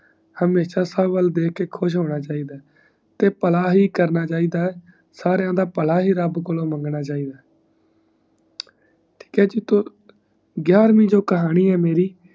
ਹਮਹਿਸ ਸਬ ਵੱਲ ਦੇਖ ਕਰ ਖੁਸ਼ ਹੋਂਦ ਹੈ ਤੇ ਪਲਾ ਹੀ ਕਰਨਾ ਚਾਹੀਦਾ ਸਾਰਿਆਂ ਦਾ ਪਲਾ ਹੀ ਰਬ ਕੋਲੋਂ ਮੰਗਣਾ ਚਾਹੀਦਾ ਠੀਕ ਹੈ ਜੀ ਤੋਂ ਗਿਰਵੀ ਜੋ ਕਹਾਣੀ ਹੈ ਮੇਰੀ